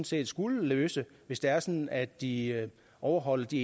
set skulle løse hvis det er sådan at de overholder de